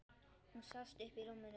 Hún sest upp í rúminu.